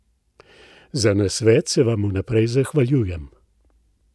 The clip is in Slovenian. Za nasvet se vam vnaprej zahvaljujem!